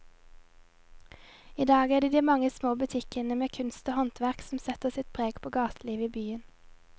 I dag er det de mange små butikkene med kunst og håndverk som setter sitt preg på gatelivet i byen.